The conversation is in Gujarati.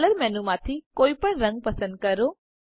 કલર મેનુમાંથી કોઈ પણ રંગ પસંદ કરો